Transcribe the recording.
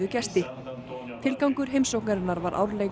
gesti tilgangur heimsóknarinnar var árleg